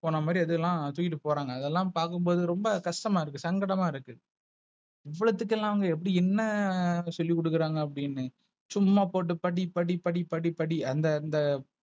போன மாதிரி ஏதெல்லா தூக்கிட்டு போறாங்க. அதெல்லாம் பாக்கும் போது ரொம்ப கஷ்டமா இருக்கு. சங்கடமா இருக்கு. இவ்ளதுக்கு எல்ல அங்க எப்டி என்ன சொல்லி குடுக்குறாங்க அப்டினு. சும்மா போட்டு படி படி படி படி படி அந்த அந்த,